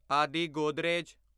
ਆਦਿ ਗੋਦਰੇਜ